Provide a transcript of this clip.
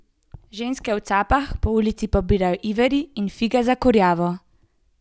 Ženske v capah po ulici pobirajo iveri in fige za kurjavo.